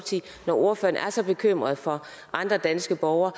ordføreren er så bekymret for andre danske borgere